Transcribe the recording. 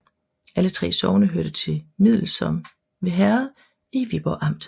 Alle 3 sogne hørte til Middelsom Herred i Viborg Amt